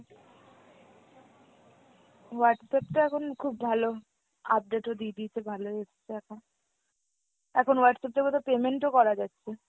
Whatsapp তো এখন খুব ভালো, update ও দিয়ে দিয়েছে ভালোই এসছে এখন। এখন Whatsapp তো বোধহয় payment ও করা যাচ্ছে।